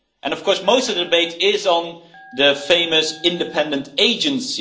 Of course most of the debate is on the famous independent agency.